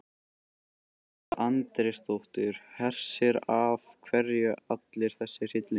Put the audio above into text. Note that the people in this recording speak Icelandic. Edda Andrésdóttir: Hersir, af hverju allur þessi hryllingur?